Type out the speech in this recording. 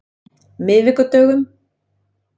miðvikudögum